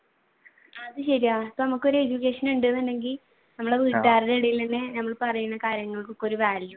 അത് ശരിയാണ് ഇപ്പൊ നമുക്ക് ഒരു education ഉണ്ടെന്നുണ്ടെങ്കിൽ നമ്മൾ വീട്ടുകാരുടെ ഇടയിൽ തന്നെ ഞമ്മള് പറയുന്ന കാര്യങ്ങൾക്കൊക്കെ